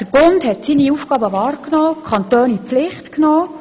Der Bund hat seine Aufgaben wahrgenommen und die Kantone in die Pflicht genommen.